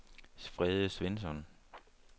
Frede Svensson